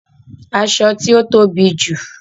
Aṣọ ti o tobi ju